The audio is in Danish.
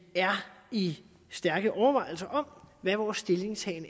er i stærke overvejelser om hvad vores stillingtagen